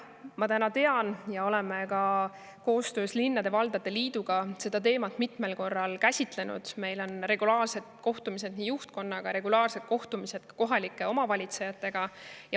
Me oleme ka koostöös linnade ja valdade liiduga seda teemat mitmel korral käsitlenud, meil on regulaarsed kohtumised juhtkonnaga, regulaarsed kohtumised kohalike omavalitsejatega.